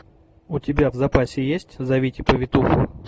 у тебя в запасе есть зовите повитуху